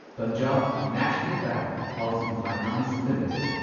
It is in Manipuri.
Punjab National Bank Housing Finance limited